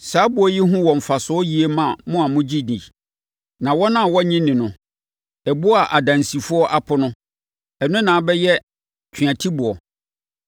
Saa ɛboɔ yi ho wɔ mfasoɔ yie ma mo a mogye di. Na wɔn a wɔnnye nni no: “Ɛboɔ a adansifoɔ apo no, ɛno ara na abɛyɛ tweatiboɔ.”